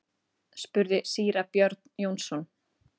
spurði síra Björn Jónsson.